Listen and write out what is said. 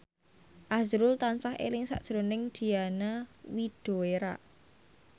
azrul tansah eling sakjroning Diana Widoera